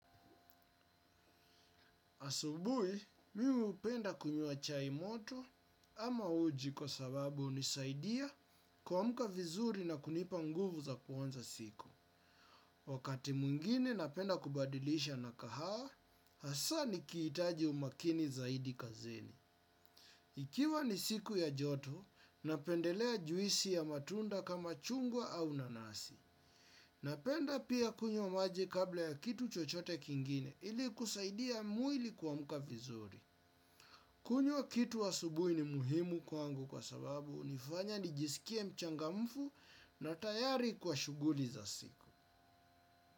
Asubui, mi hupenda kunyua chai moto ama uji kwa sababu hunisaidia kwamka vizuri na kunipa nguvu za kuanza siku. Wakati mwingine napenda kubadilisha na kahawa hasaa nikihitaji umakini zaidi kazini. Ikiwa ni siku ya joto napendelea juisi ya matunda kama chungwa au nanasi. Napenda pia kunywa maji kabla ya kitu chochote kingine ili kusaidia mwili kwamka vizuri. Kunywa kitu asubuhi ni muhimu kwangu kwa sababu hunifanya nijisikie mchangamfu na tayari kwa shughuli za siku.